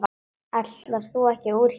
Ætlaðir þú ekki úr hér?